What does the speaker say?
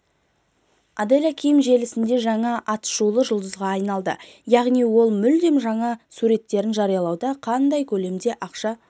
аделя ким желісінде жаңа атышулы жұлдызға айналды яғни ол мүлдем жаңа суреттерін жариялауда қандай көлемде ақша